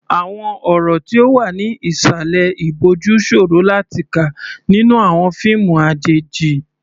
Àwọn ọ̀rọ̀ tí ó wà ní ìsàlẹ̀ ìbòjú ṣòro láti kà nínú àwọn fíìmù àjèjì.